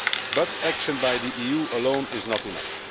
But action by the EU alone is not enough.